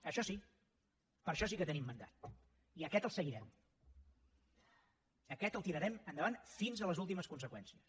això sí per això sí que tenim mandat i aquest el seguirem aquest el tirarem endavant fins a les últimes conseqüències